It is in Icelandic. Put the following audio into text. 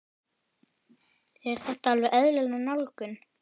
Er þetta alveg eðlileg nálgun?